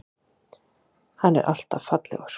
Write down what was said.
Hann er alltaf fallegur.